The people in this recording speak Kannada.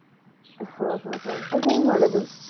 ಹ ಹ ಹ ಅದ್ ಹೆಂಗ್ ಮಾಡೋದು?